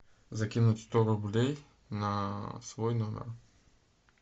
закинуть сто рублей на свой номер